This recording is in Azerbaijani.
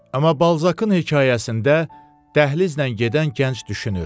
Amma Balzakın hekayəsində dəhlizlə gedən gənc düşünür: